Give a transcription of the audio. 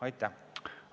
Aitäh!